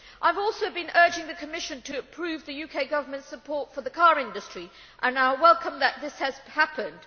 I have also been urging the Commission to approve the UK Government's support for the car industry, and I welcome that this has happened.